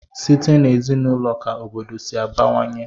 Site n'ezinaụlọ ka obodo si abawanye.